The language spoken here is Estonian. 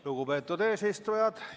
Lugupeetud eesistuja!